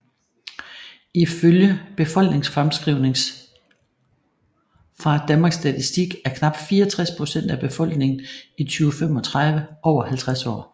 Ifølge befolkningsfremskrivninger fra Danmarks Statistik er knap 64 procent af befolkningen i 2035 over 50 år